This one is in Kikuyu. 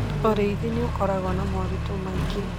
Ũrĩithi nĩ ũkoragwo na moritũ maingĩ.